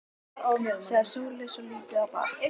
sagði Sóley svo lítið bar á.